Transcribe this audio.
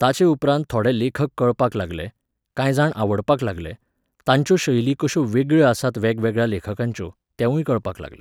ताचेउपरांत थोडे लेखक कळपाक लागले, कांय जाण आवडपाक लागले, तांच्यो शैली कश्यो वेगळ्यो आसात वेगळ्यावेगळ्या लेखकांच्यो, तेंवूय कळपाक लागलें